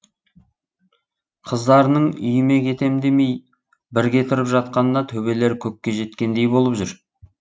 қыздарының үйіме кетем демей бірге тұрып жатқанына төбелері көкке жеткендей болып жүр